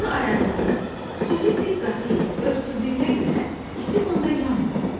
Onun ayaqları xüsusi pilə qatı ilə örtüldüyünə görə isti qumda yanmır.